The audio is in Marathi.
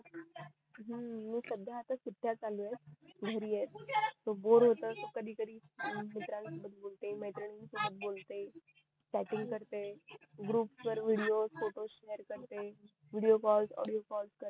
हम्म मी सध्या आता सुट्या चालू येत घरी येत त बोर होत त कधी कधी मित्र सोबत बोलते मैत्रिणी सोबत बोलते चॅटिंग करते ग्रुप वर विडिओ फोटो शेयर करते विडिओ कॉल ऑडिओ कॉल